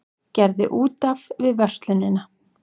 Gerði út af við verslunina